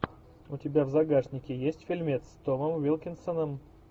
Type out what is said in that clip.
у тебя в загашнике есть фильмец с томом уилкинсоном